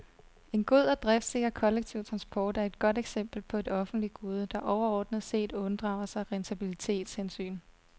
En god og driftsikker kollektiv transport er et godt eksempel på et offentligt gode, der overordnet set unddrager sig rentabilitetshensyn.